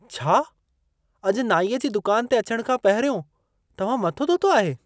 छा? अॼु नाईअ जी दुकान ते अचण खां पहिरियों, तव्हां मथो धोतो आहे!